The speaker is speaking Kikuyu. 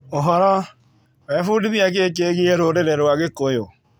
ũhoro. Webundithia kĩ kĩgie rũrĩrĩ rwa gĩkũyũ?